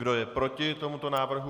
Kdo je proti tomuto návrhu?